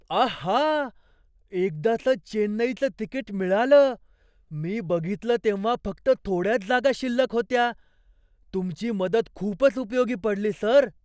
आहा! एकदाचं चेन्नईचं तिकीट मिळालं. मी बघितलं तेव्हा फक्त थोड्याच जागा शिल्लक होत्या. तुमची मदत खूपच उपयोगी पडली, सर!